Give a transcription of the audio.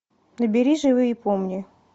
набери живи и помни